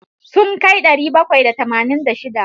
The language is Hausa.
Sun kai ɗari bakwai da tamanin da shida.